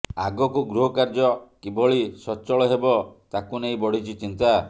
ଆଗକୁ ଗୃହକାର୍ଯ୍ୟ କିଭଳି ସଚଳ ହେବ ତାକୁ ନେଇ ବଢ଼ିଛି ଚିନ୍ତା